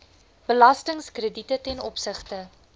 belastingkrediete ten opsigte